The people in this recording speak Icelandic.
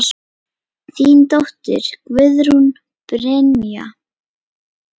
Þín dóttir, Guðrún Brynja.